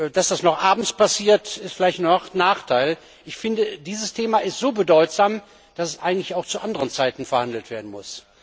Dass das nur abends passiert, ist vielleicht ein Nachteil. Dieses Thema ist so bedeutsam, dass es eigentlich auch zu anderen Zeiten verhandelt werden muss.